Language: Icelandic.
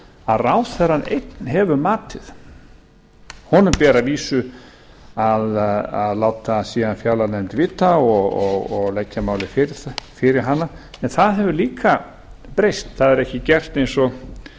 að ráðherrann einn hefur matið honum ber að vísu að láta síðan fjárlaganefnd vita og leggja málið fyrir hana en það hefur líka breyst það er ekki gert eins og